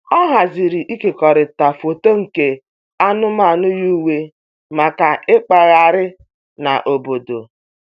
Ọ haziri ịkekọrịta foto nke anụmanụ yi uwe maka ịkpagharị n'obodo.